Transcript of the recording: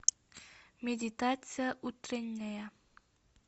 медитация утренняя